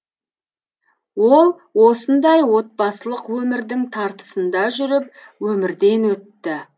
ол осындай отбасылық өмірдің тартысында жүріп өмірден өтті